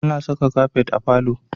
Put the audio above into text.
Ana saka kafet a falo